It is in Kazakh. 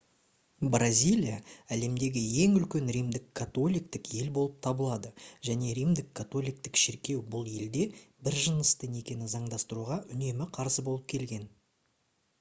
бразилия әлемдегі ең үлкен римдік католиктік ел болып табылады және римдік католиктік шіркеу бұл елде бір-жынысты некені заңдастыруға үнемі қарсы болып келген